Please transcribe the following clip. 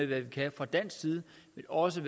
hvad vi kan fra dansk side men også